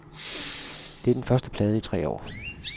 Det er den første plade i tre år.